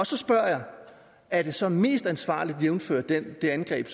så spørger jeg er det så mest ansvarligt jævnfør det angreb